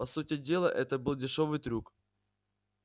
по сути дела это был дешёвый трюк